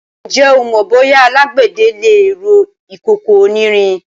Ǹjẹ́ o mọ bóyá alágbẹ̀dẹ le rọ ìkòkò onírin?